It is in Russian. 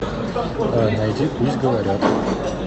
найди пусть говорят